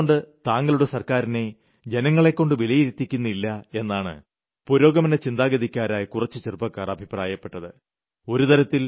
താങ്കൾ എന്തുകൊണ്ട് താങ്കളുടെ സർക്കാരിനെ ജനങ്ങളെക്കൊണ്ട് വിലയിരുത്തിക്കുന്നില്ല എന്നാണ് പുരോഗമനചിന്താഗതിക്കാരായ കുറച്ചു ചെറുപ്പക്കാർ അഭിപ്രായപ്പെട്ടത്